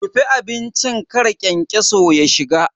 Rufe abincin kar kyankyaso ya shiga.